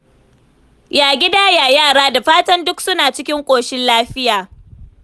Ya gida? Ya yara? Da fatan duk suna cikin ƙoshin lafiya.